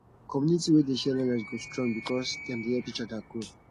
community wey dey share knowledge go strong because dem dey help each other grow